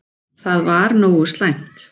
Það var nógu slæmt.